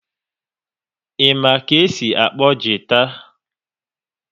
Ị ma ka e si akpọ gita?